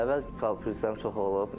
Əvvəl komplekslərim çox olub.